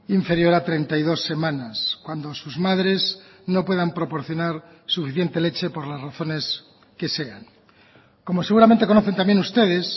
inferior a treinta y dos semanas cuando sus madres no puedan proporcionar suficiente leche por las razones que sean como seguramente conocen también ustedes